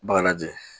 Bagaji